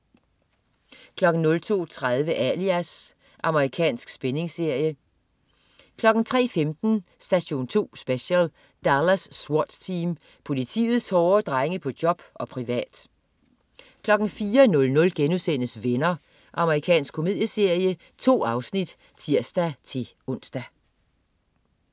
02.30 Alias. Amerikansk spændingsserie 03.15 Station 2 Special: Dallas SWAT Team. Politiets hårde drenge på job og privat 04.00 Venner.* Amerikansk komedieserie. 2 afsnit (tirs-ons)